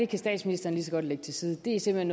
kan statsministeren godt lægge til side det er simpelt